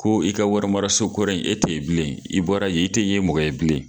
Ko i ka warimaraso kɔrɔ in e tɛ ye bilen i bɔra ye i tɛ yen mɔgɔ ye bilen.